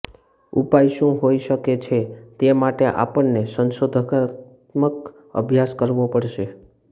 ઉપાય શું હોઈ શકે છે તે માટે આપણને સંશોધનાત્મક અભ્યાસ કરવો પડશે